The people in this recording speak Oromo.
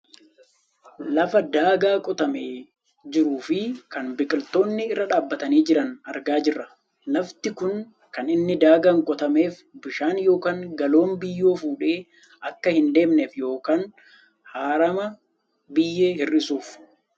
Lafa daagaa qotamee jiruu fi kan biqiltoonni irra dhaabbatanii jiran argaa jirra. lafti kun kan inni daagaan qotameef bishaaan yookaan galoon biyyoo fuudhee akka hin deemneef yookaan harama biyyee hir'isuufi.